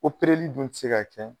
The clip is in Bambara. O perelli dun tɛ se ka kɛ